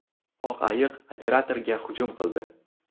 Oq ayiq operatorga hujum qildi .